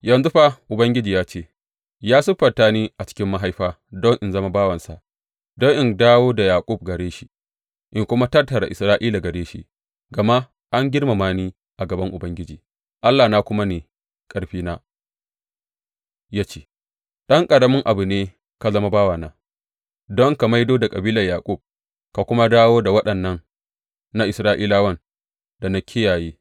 Yanzu fa Ubangiji ya ce ya siffanta ni a cikin mahaifa don in zama bawansa don in dawo da Yaƙub gare shi in kuma tattara Isra’ila gare shi, gama an girmama ni a gaban Ubangiji Allahna kuma ne ƙarfina ya ce, Ɗan ƙaramin abu ne ka zama bawana don ka maido da kabilar Yaƙub ka kuma dawo da waɗannan na Isra’ilawan da na kiyaye.